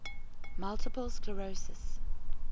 multiple sclerosis